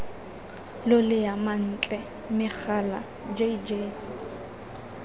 lolea mantle megala j j